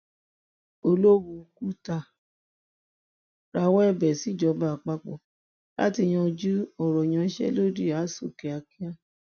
olówú kùtà rawọ ẹbẹ síjọba àpapọ láti yanjú ọrọ ìyanṣẹlódì àṣù kíákíá